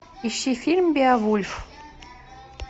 ищи фильм беовульф